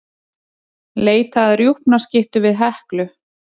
Leita að rjúpnaskyttu við Heklu